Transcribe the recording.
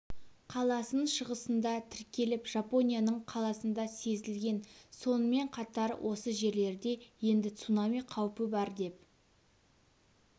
қаласының шығысында тіркеліп жапонияның қаласында сезілген сонымен қатар осы жерлерде енді цунами қаупі бар деп